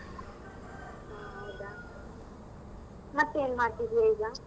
ಹೂ ಹೌದಾ. ಮತ್ ಏನ್ ಮಾಡ್ತಿದ್ಯ ಈಗ?